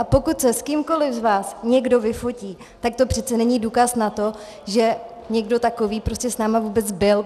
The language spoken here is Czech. A pokud se s kýmkoli z vás někdo vyfotí, tak to přece není důkaz na to, že někdo takový prostě s námi vůbec byl.